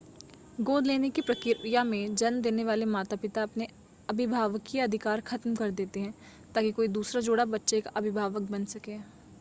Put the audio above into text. गोद लेने की प्रक्रिया में जन्म देने वाले माता-पिता अपने अभिभावकीय अधिकार ख़त्म कर देते हैं ताकि कोई दूसरा जोड़ा बच्चे का अभिभावक बन सके